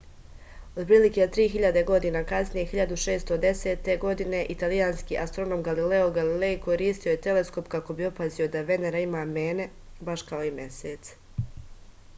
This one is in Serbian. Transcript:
otprilike tri hiljade godina kasnije 1610. godine italijanski astronom galileo galilej koristio je teleskop kako bi opazio da venera ima mene baš kao i mesec